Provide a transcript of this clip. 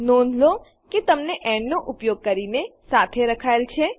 નોંધ લો કે તેમને એન્ડ નો ઉપયોગ કરીને સાથે રખાયેલ છે